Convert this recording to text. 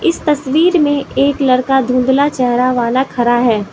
इस तस्वीर में एक लड़का धुंधला चेहरा वाला खड़ा है।